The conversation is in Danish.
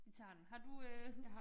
Vi tager den. Har du øh